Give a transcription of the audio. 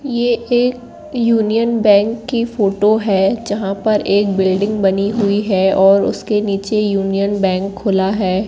ये एक Union Bank की फोटो है जहां पर एक बिल्डिंग बनी हुई है और उसके नीचे यूनियन बैंक खुला है।